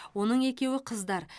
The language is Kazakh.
оның екеуі қыздар